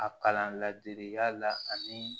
A kalan ladege ya la ani